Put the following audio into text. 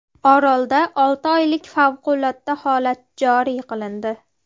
Orolda olti oylik favqulodda holat joriy qilindi .